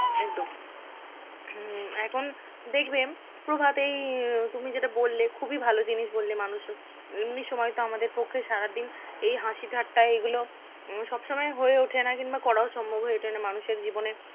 একদম হম এখন দেখবেন প্রভাত এই তুমি যেটা বললে খুবই ভালো জিনিস বললে মানুষ হ~ এমনি সময় তো আমাদের পক্ষে সারাদিন এই হাসি ঠাট্টা এগুলো উম সব সময় হয়ে ওঠে না কিংবা করাও সম্ভব হয়ে ওঠে না মানুষের জীবনে